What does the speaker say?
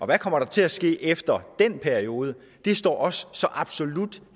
hvad kommer der til at ske efter den periode det står så absolut